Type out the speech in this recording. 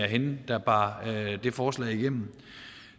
hende der bar det forslag igennem